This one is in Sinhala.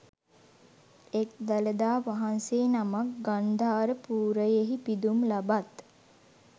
එක් දළදා වහන්සේ නමක් ගන්ධාර පුරයෙහි පිදුම් ලබත්